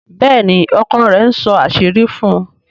Béèni ọkọ rẹ̀ nsó àṣírí fún.